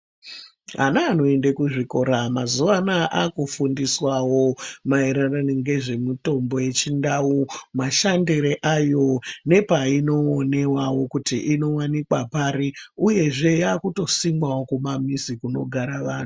Ana anoende kuzvikora mazuva anaya akufundiswawo maererano ngezvemitombo yechindau, mashandiro ayo nepainoonewawo kuti inowanikwa pari, uyezve yakutosimwawo kumamizi kunogara vantu.